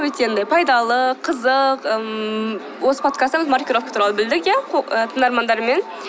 өте андай пайдалы қызық ммм осы подкастта маркировка туралы білдік иә тыңдармандармен